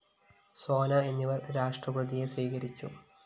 സോന എന്നിവര്‍ രാഷ്ട്രപതിയെ സ്വീകരിച്ചു